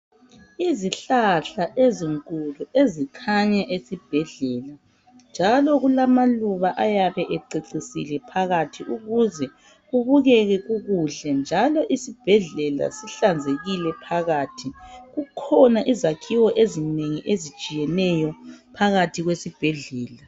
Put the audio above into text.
Izihlahla ezinkulu ezikhanya esibhedlela njalo kulamaluba ayabe ececisile phakathi ukuze kubukeke kukuhle njalo isibhedlela sihlanzekile phakathi. Kukhona izakhiwo ezinengi ezitshiyeneyo phakathi kwesibhedlela.